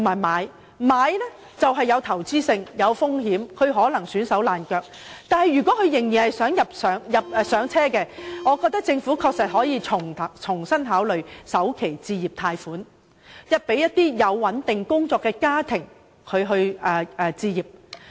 買樓屬投資行為，帶有風險，可能會弄至焦頭爛額，但如果人們仍然希望"上車"，政府確實可以重新考慮推行首期置業貸款，協助有穩定工作的家庭置業。